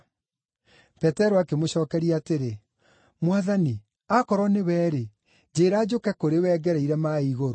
Petero akĩmũcookeria atĩrĩ, “Mwathani, akorwo nĩwe-rĩ, njĩĩra njũke kũrĩ we ngereire maaĩ igũrũ.”